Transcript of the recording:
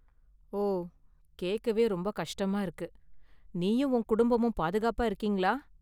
ஓ, கேக்கவே ரொம்ப​ கஷ்டமாயிருக்கு! நீயும் உன் குடும்பமும் பாதுகாப்பா இருக்கீங்களா?